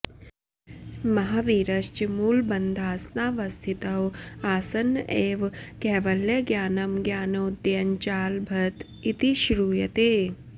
महावीरश्च मूलबन्धासनावस्थितौ आसन्न एव कैवल्यज्ञानं ज्ञानोदयञ्चालभत इति श्रूयते